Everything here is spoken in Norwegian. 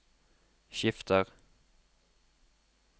skifter